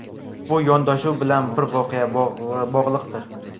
Bu yondashuv bilan bir voqea bog‘liqdir.